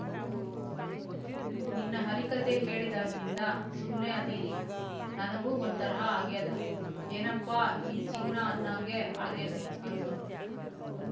ನಿನ್ನೆ ಹರಿಕಥೆ ಕೇಳಿದಾಗ್ನಿಂದ ಸುಮ್ನೆ ಅದಿರಿ ನನಗೂ ಒಂದು ತರಹ ಆಗ್ಯಾದಾ ಏನಪ್ಪಾ ಈ ಜೀವನ ಅನ್ನೊಂಗೆ ಅಗ್ಯಾದ ಅಂದ್ಲು